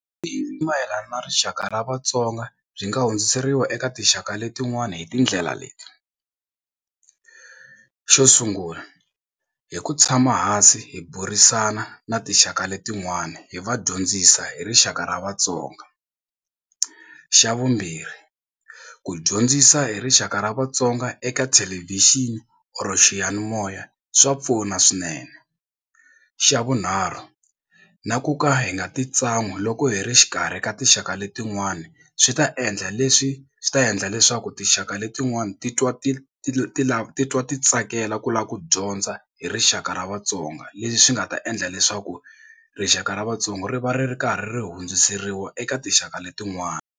I mayelana na rixaka ra Vatsonga byi nga hundziseriwa eka tinxaka letin'wana hi tindlela leti xo sungula hi ku tshama hansi hi burisana na tinxaka letin'wani hi va dyondzisa hi rixaka ra Vatsonga. Xa vumbirhi ku dyondzisa hi rixaka ra Vatsonga eka thelevhixini or xiyanimoya swa pfuna swinene. Xa vunharhu na ku ka hi nga titsan'wi loko hi ri exikarhi ka tinxaka letin'wani swi ta endla leswi swi ta endla leswaku tinxaka letin'wani ti twa ti ti ti lava titwa ti tsakela ku lava ku dyondza hi rixaka ra vatsonga leswi swi nga ta endla leswaku rixaka ra vatsonga ri va ri ri karhi ri hundziseriwa eka tinxaka letin'wana.